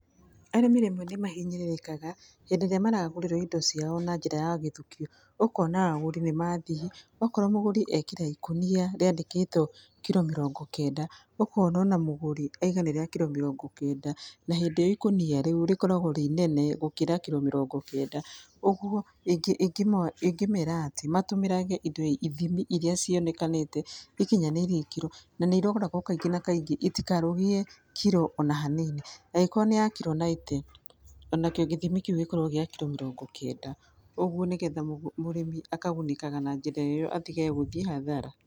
Arĩmi rĩmwe nĩ mahinyĩrĩrĩkaga hĩndĩ ĩrĩa maragũrĩrwo indo ciao na njĩra ya gĩthukio. Ũkona agũri nĩ mathiĩ okorwo mũgũri ekĩra ikũnia riandĩkĩtwo kiro mĩrongo kenda, ukona ona mũgũri auga nĩ rĩa kiro mirongo kenda, na hindĩ ĩyo ikũnia rĩu rikoragwo rĩ inene gũkira kiro mirongo kenda. Ũguo ingĩmera atĩ matũmĩrage indo ithimi iria cionekanĩte ikinyanĩirie ikĩro , na nĩ iroragwo kaingĩ na kaingĩ itikarũgie kiro ona hanini, agĩkorwo nĩ ya kiro ninety ona kĩo gĩthimi kĩu gĩkorwo kiro mĩrongo kenda. Ũguo nĩ getha mũrĩmi akagunĩkaga na njĩra ĩyo atihe gũthiĩ hathara.